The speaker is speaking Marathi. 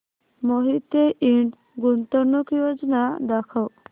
मोहिते इंड गुंतवणूक योजना दाखव